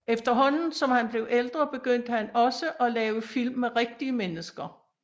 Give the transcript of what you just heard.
Efterhånden som han blev ældre begyndte han også at lave film med rigtige mennesker